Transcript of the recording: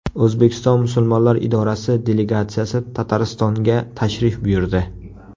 O‘zbekiston musulmonlar idorasi delegatsiyasi Tataristonga tashrif buyurdi.